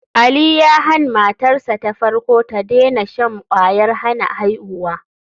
Ali ya han matarsa ta farko da tadena shan kwayar hana aihuwa.